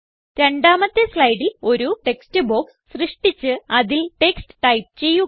രണ്ടാമത്തെ സ്ലൈഡിൽ ഒരു ടെക്സ്റ്റ് ബോക്സ് സൃഷ്ടിച്ച് അതിൽ ടെക്സ്റ്റ് ടൈപ്പ് ചെയ്യുക